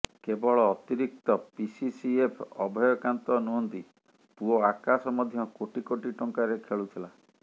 କେବଳ ଅତିରିକ୍ତ ପିସିସିଏଫ୍ ଅଭୟକାନ୍ତ ନୁହନ୍ତି ପୁଅ ଆକାଶ ମଧ୍ୟ କୋଟି କୋଟି ଟଙ୍କାରେ ଖେଳୁଥିଲେ